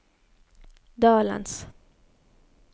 dalens